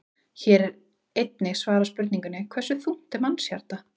Hér er einnig svarað spurningunni: Hversu þungt er mannshjarta?